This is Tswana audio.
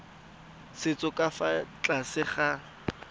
setso ka fa tlase ga